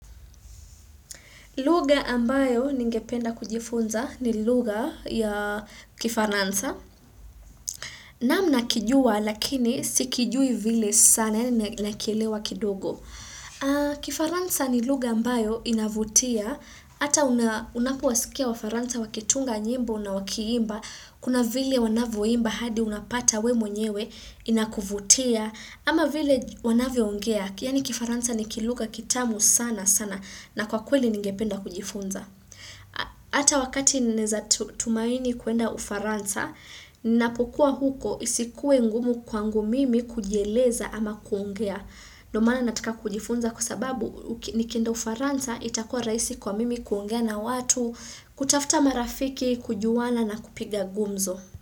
Luga ambayo ningependa kujifunza ni luga ya kifaransa. Namna kijua lakini sikijui vile sana nakielewa kidogo. Kifaransa ni luga ambayo inavutia. Ata unapowasikia wafaransa wakitunga nyimbo na wakiimba. Kuna vile wanavuimba hadi unapata we mwenyewe inakuvutia. Ama vile wanavyo ungea. Yani kifaransa ni kiluga kitamu sana sana na kwa kweli ningependa kujifunza. Ata wakati neza tumaini kuenda ufaransa, ninapokuwa huko isikuwe ngumu kwangu mimi kujieleza ama kuongea. Nomana nataka kujifunza kusababu nikenda ufaransa itakuwa raisi kwa mimi kuongea na watu, kutafuta marafiki, kujuwana na kupiga gumzo.